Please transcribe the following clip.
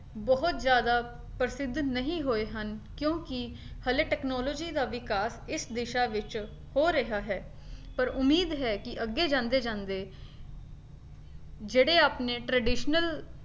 ਬਹੁਤ ਜ਼ਿਆਦਾ ਪ੍ਰਸਿੱਧ ਨਹੀਂ ਹੋਏ ਹਨ ਕਿਉਂਕਿ ਹਲੇ technology ਦਾ ਵਿਕਾਸ ਇਸ ਦਿਸ਼ਾ ਵਿੱਚ ਹੋ ਰਿਹਾ ਹੈ ਪਰ ਉਮੀਦ ਹੈ ਕੀ ਅੱਗੇ ਜਾਂਦੇ ਜਾਂਦੇ ਜਿਹੜੇ ਆਪਣੇ traditional